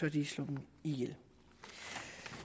at de slår dem ihjel